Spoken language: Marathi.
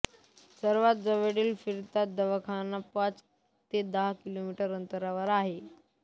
सर्वात जवळील फिरता दवाखाना पाच ते दहा किलोमीटर अंतरावर आहे